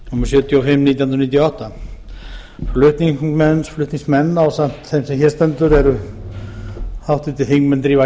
sjötíu og fimm nítján hundruð níutíu og átta flutningsmenn ásamt þeim sem hér stendur eru háttvirtir þingmenn drífa